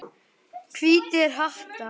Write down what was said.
Hvítir hattar.